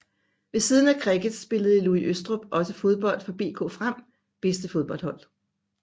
Ved siden af cricket spillede Louis Østrup også fodbold for BK FREM bedste fodboldhold